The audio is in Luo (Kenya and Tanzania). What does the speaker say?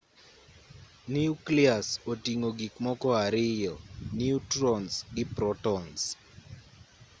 niuklias oting'o gik moko ariyo niutrons gi protons